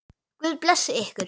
Guð blessi ykkur.